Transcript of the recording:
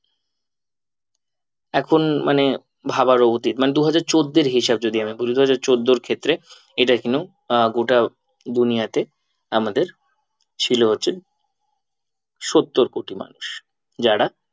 এখন মানে ভাবারও অতীত মানে দুহাজার চোদ্দ এর হিসাব যদি আমি বলি দুহাজার চোদ্দোর ক্ষেত্রে আহ গোটা দুনিযাতে আমাদের ছিল হচ্ছে সত্তর কোটি মানুষ যারা